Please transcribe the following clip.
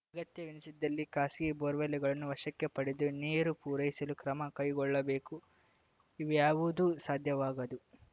ಅಗತ್ಯವೆನಿಸಿದಲ್ಲಿ ಖಾಸಗಿ ಬೋರ್‌ವೆಲ್‌ಗಳನ್ನು ವಶಕ್ಕೆ ಪಡೆದು ನೀರು ಪೂರೈಸಲು ಕ್ರಮ ಕೈಗೊಳ್ಳಬೇಕು ಇವ್ಯಾವುದೂ ಸಾಧ್ಯವಾಗದು